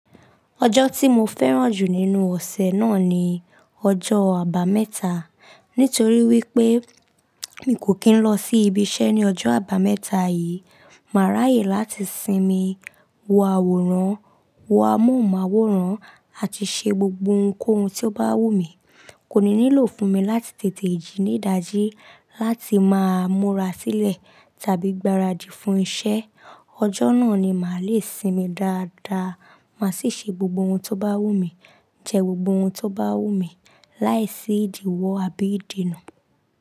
Ọjọ́ tí mo fẹ́ràn jù nínú ọ̀sẹ̀ náà ni ọjọ́ Àbámẹ́ta. Nítorí wípé mi kò kí ń lọ sí ibiṣẹ́ ní ọjọ́ Àbámẹ́ta yìí, màá ráyè láti sinmi, wo àwòrán, wo amóhùnmáwòrán àti ṣe gbogbo ohunkóhun tó bá wù mí. Kò ní nílò fún mi láti tètè jí ní dàjí láti máa múra sílẹ̀ tàbí gbaradì fún iṣẹ́. Ọjọ́ náà ni màá le sinmi dáadáa. Màá sì ṣe gbogbo ohun tó bá wù mí, jẹ gbogbo ohun tó bá wù mí láìsí ìdíwọ̀ àbí ìdènà.